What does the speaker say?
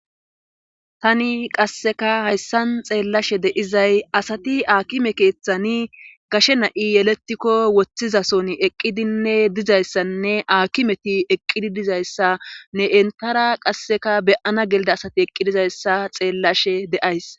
Tani qasseka hayssan xeellashe deizay asati aakime keeththani gashe na'i yeletikko woththizason eqqidinne dizayssanne aaki meti eqqidi dizayssa ne entara qasseka beyana gelida asati eqqidizayssa xeellashe de'ays.